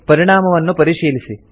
ಪರಿಣಾಮವನ್ನು ಪರಿಶೀಲಿಸಿ